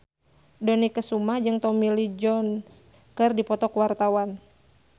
Dony Kesuma jeung Tommy Lee Jones keur dipoto ku wartawan